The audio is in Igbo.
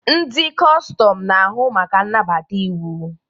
Ndị kọstọm na-ahụ maka nnabata iwu.